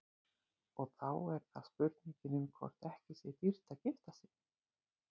Og þá er það spurningin um hvort ekki sé dýrt að gifta sig.